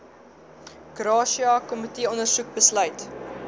gratia komiteeondersoek besluit